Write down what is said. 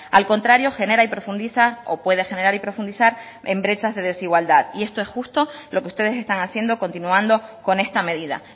al contrario genera y profundiza o puede generar y profundizar en brechas de desigualdad y esto es justo lo que ustedes están haciendo continuando con esta medida